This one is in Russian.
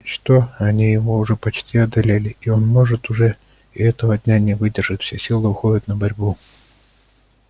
и что они его уже почти одолели и он может уже и этого дня не выдержит все силы уходят на борьбу